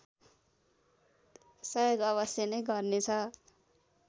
सहयोग अवश्य नै गर्नेछ